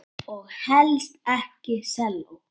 Og helst ekki selló.